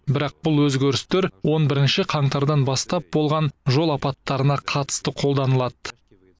бірақ бұл өзгерістер он бірінші қаңтардан бастап болған жол апаттарына қатысты қолданылады